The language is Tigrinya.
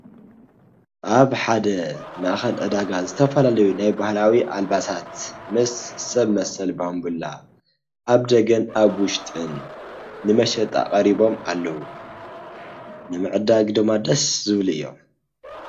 ኣብ ሓደ ማእኸል ዕዳጋ ዝተፈላለዩ ናይ ባህላዊ ኣልባሳት ምስ ሰብ መሰል ባንቡላ ኣብ ደገን ኣብ ውሽጥን ንመሸጣ ቀሪቦም ኣለው፡፡ ንምዕዳግ ድማ ደስ ዝብሉ እዮም፡፡